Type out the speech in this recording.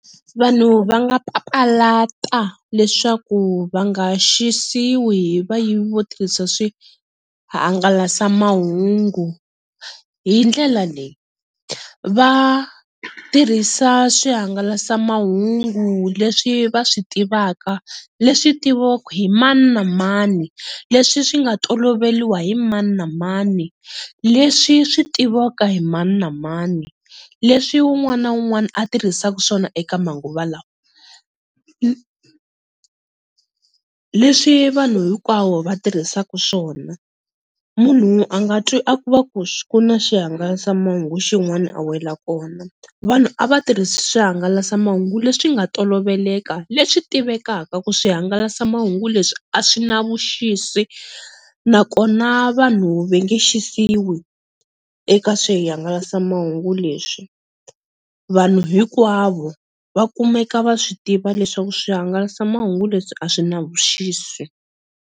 Vanhu va nga papalata leswaku va nga xisiwi hi vayivi vo tirhisa swihangalasamahungu hi ndlela leyi, va tirhisa swihangalasamahungu leswi va swi tivaka leswi tiviwaka hi mani na mani, leswi swi nga toloveliwa hi mani na mani, leswi swi tiviwaka hi mani na mani, leswi un'wana na un'wana a tirhisaka swona eka manguva lawa, leswi vanhu hinkwavo va tirhisaku swona, munhu a nga twi va ku kuna swihangalasamahungu xin'wana a wela kona, vanhu a va tirhisa swihangalasamahungu leswi nga toloveleka leswi tivekaka ku swihangalasamahungu leswi a swi na vuxisi nakona vanhu va nge xisiwi eka swihangalasamahungu leswi vanhu hinkwavo va kumeka va swi tiva leswaku swihangalasamahungu leswi a swi na vuxisi.